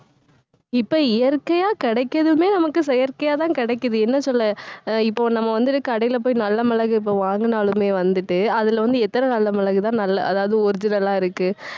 இப்ப இயற்கையா கிடைக்கிறதுமே நமக்கு செயற்கையாதான் கிடைக்குது. என்ன சொல்ல அஹ் இப்போ நம்ம வந்துட்டு, கடையில போயி நல்ல மிளகு, இப்ப வாங்கினாலுமே வந்துட்டு அதுல வந்து எத்தன நல்ல மிளகுதான் நல்லா அதாவது original ஆ இருக்கு